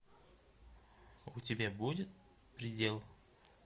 у тебя будет предел